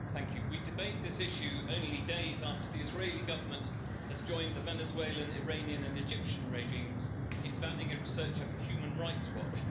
Mr President, we debate this issue only days after the Israeli government has joined the Venezuelan, Iranian and Egyptian regimes in banning a researcher for Human Rights Watch.